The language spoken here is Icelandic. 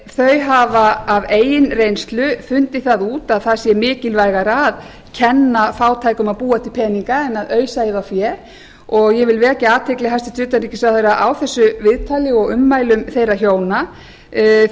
þau hafa af eigin reynslu fundið það út að það sé mikilvægara að kenna fátækum að búa til peninga en að ausa í þá fé og ég vil vekja athygli hæstvirts utanríkisráðherra á þessu viðtali og ummælum þeirra hjóna því að